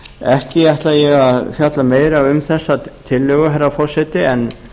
ekki ætla ég að fjalla meira um þessa tillögu herra forseti en